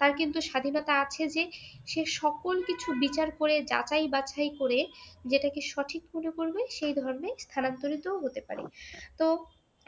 তার কিন্তু স্বাধীনতা আছে যে সে সকল কিছু বিচার করে যাচাই বাছাই করে যেটাকে সঠিক মনে করবে সেই ধর্মেই স্থানান্তরিত হতে পারে তো